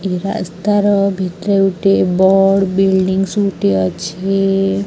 ଏହି ରାସ୍ତାର ଭିତରେ ଗୁଟିଏ ବଡ଼ ବିଲଡିଂସ ଗୁଟିଏ ଅଛି।